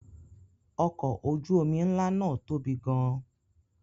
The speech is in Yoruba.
Ọkọ̀ ojú-omi ńlá náà tóbi gan-an.